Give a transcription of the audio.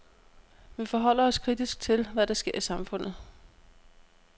Vi forholder os kritisk til, hvad der sker i samfundet.